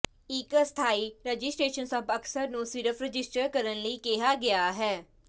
ਇੱਕ ਅਸਥਾਈ ਰਜਿਸਟਰੇਸ਼ਨ ਸਭ ਅਕਸਰ ਨੂੰ ਸਿਰਫ਼ ਰਜਿਸਟਰ ਕਰਨ ਲਈ ਕਿਹਾ ਗਿਆ ਹੈ